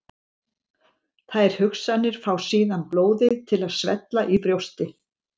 Þær hugsanir fá síðan blóðið til að svella í brjósti.